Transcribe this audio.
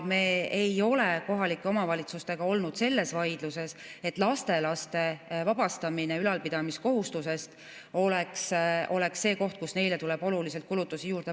Me ei ole kohalike omavalitsustega olnud selles vaidluses, et lastelaste vabastamine ülalpidamiskohustusest oleks see koht, kus neile tuleb oluliselt kulutusi juurde.